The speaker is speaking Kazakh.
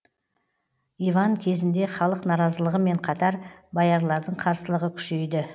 иван кезінде халық наразылығымен қатар боярлардың қарсылығы күшейді